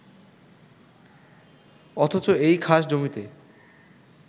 অথচ এই খাসজমিতে